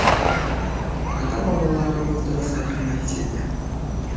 ата бабаларымыз дұрыс айтқан әйтсе де